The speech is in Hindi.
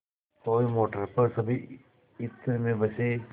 कोई मोटर पर सभी इत्र में बसे